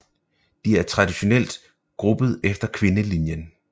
De er traditionelt gruppet efter kvindelinjen